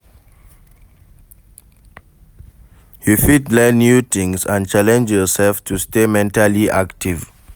You fit learn new tings and challenge yourself to stay mentally active.